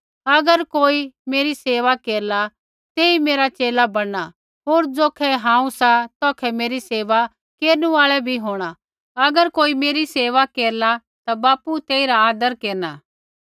अगर कोई मेरी सेवा केरला तेई मेरा च़ेला बणना होर ज़ौखै हांऊँ सा तौखै मेरी सेवा केरनु आल़ा बी होंणा अगर कोई मेरी सेवा केरला ता बापू तेइरा आदर केरना